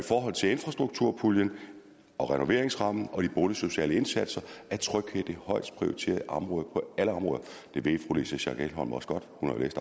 forhold til infrastrukturpuljen og renoveringsrammen og de boligsociale indsatser er tryghed det højst prioriterede område på alle områder det ved fru louise schack elholm også godt